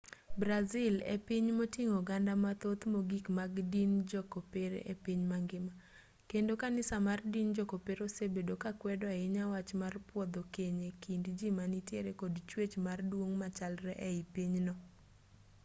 brazil e piny moting'o oganda mathoth mogik mag din jo-kopere e piny mangima kendo kanisa mar din jo-kopere osebedo ka kwedo ahinya wach mar pwodho keny e kind ji ma nitiere kod chwech mar duong' machalre ei pinyno